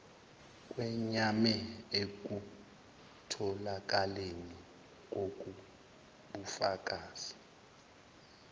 kweyame ekutholakaleni kokbufakazi